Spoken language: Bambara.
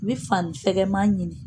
N bɛ fani fɛkɛma ɲini